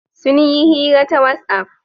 Sun yi hira ta whatsapp.